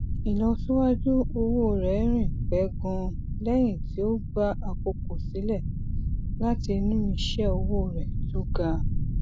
ìlọsíwájú owó rẹ rìn pẹ ganan lẹyìn tí ó gba àkókò sílẹ láti inú iṣẹ owó rẹ tó ga